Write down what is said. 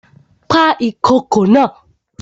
Pa ìkokò naa!